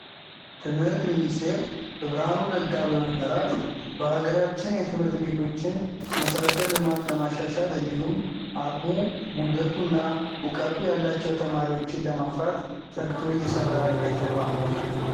ትምህርት ሚኒስቴር በብርሃኑ ነጋ በመመርራት በሃገራችን የትምህርት ቤቶችን መሰረተ ልማት ለማሻሻልእንዲሁም አቅሙ፣ ጉልበቱ እና እውቅቱ ያለቸው ተማሪዎችን ለማፍራት ተግቶ እየሰራ ያለ ተቋም ነው።